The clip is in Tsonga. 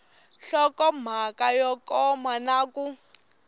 nhlokomhaka yo koma na ku